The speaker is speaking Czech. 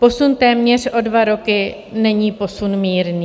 Posun téměř o dva roky není posun mírný.